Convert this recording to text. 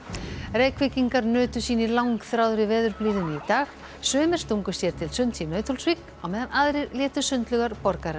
Reykvíkingar nutu sín í langþráðri veðurblíðunni í dag sumir stungu sér til sunds í Nauthólsvík á meðan aðrir létu sundlaugar borgarinnar